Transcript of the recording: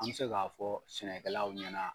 An bɛ se k'a fɔ sɛnɛkɛlaw ɲɛna.